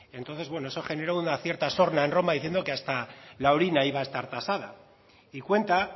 entonces bueno eso generó una cierta sorna en roma diciendo que hasta la orina iba a estar tasada y cuenta